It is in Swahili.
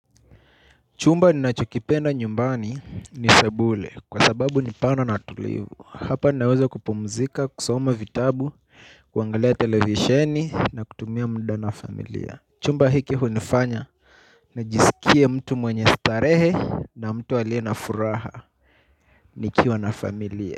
Chumba ninachokipenda nyumbani ni sebule kwa sababu ni pana na tulivu. Hapa naweza kupumzika, kusoma vitabu, kuangalia televisheni na kutumia mda na familia. Chumba hiki hunifanya nijisikie mtu mwenye starehe na mtu aliye na furaha nikiwa na familia.